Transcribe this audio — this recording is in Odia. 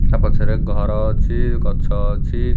ତା ପଛରେ ଘର ଅଛି ଗଛ ଅଛି ।